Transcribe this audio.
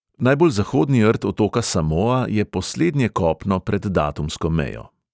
Najbolj zahodni rt otoka samoa je poslednje kopno pred datumsko mejo.